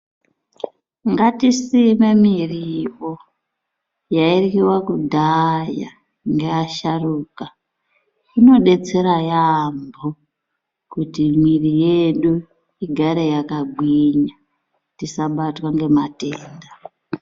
Ngatisime muriwo yairyiwa kudhaya ngevasharukwa inodetsera yambo kuti mwiri yedu igare yakagwinya tisabatwa nematenda.